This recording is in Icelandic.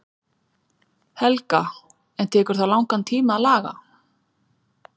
Helga: En tekur það langan tíma að laga?